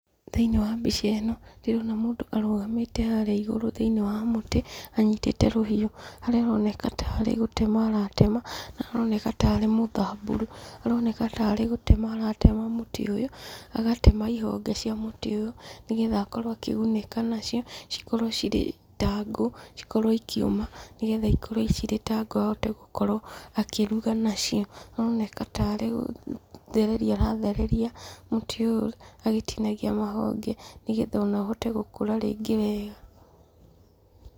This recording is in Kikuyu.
Thĩiniĩ wa mbica ĩno, ndĩrona mũndũ arũgamĩte haria igũrũ thĩiniĩ wa mũtĩ, anyitĩte rũhiũ, haria aroneka tarĩ gũtema aratema, na aroneka tarĩ mũthamburu. Aroneka tarĩ gũtema aratema mũtĩ ũyũ, agatema ihonge cia mũtĩ ũyũ, nĩgetha akorwo akĩgunĩka nacio, cikorwo ta ngũ, cikorwo ikĩũma, nĩgetha ikorwo cirĩ ta ngũ ahote gukorwo akĩruga nacio. Aroneka tarĩ gũthereria arathereria marĩ ũyũ agĩtinagia mahonge, nĩgetha ona ũhote gũkũra rĩngĩ wega.